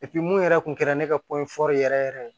mun yɛrɛ kun kɛra ne ka poro yɛrɛ yɛrɛ ye